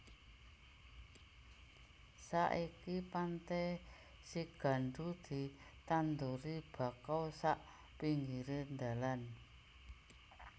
Saiki Pantai Sigandu ditanduri bakau sak pinggire ndalan